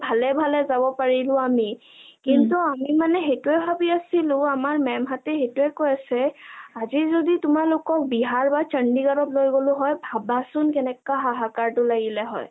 অ ভালে ভালে যাব পাৰিলো আমি কিন্তু আমি মানে হেইটোৱে ভাবি আছিলো আমাৰ maam হঁতে হেইটোৱে কয় আছে আজি যদি তোমালোকক বিহাৰ বা চণ্ডিগড লৈ গলো হয় ভাবাচোন কেনেকা হাহাকাৰ টো লাগিেল হৈ ।